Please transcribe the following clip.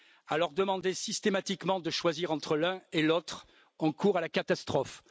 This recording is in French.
Leur demander systématiquement de choisir entre l'un et l'autre, c'est courir à la catastrophe.